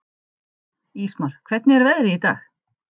Ísmar, hvernig er veðrið í dag?